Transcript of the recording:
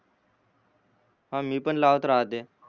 ह मी पण लावत राहतो